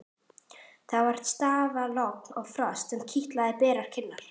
Það var stafalogn og frost sem kitlaði berar kinnar.